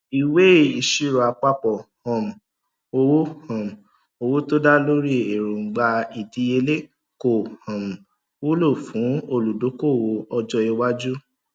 ìwé ìṣirò àpapọ um owó um owó tó dá lórí èróńgbà ìdíyelé kò um wúlò fún olùdókòwò ọjọ iwájú